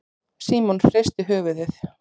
Símon hristi höfuðið.